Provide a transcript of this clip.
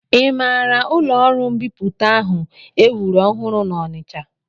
I maara ụlọọrụ mbipụta ahụ e wuru ọhụrụ n'Ọnịcha?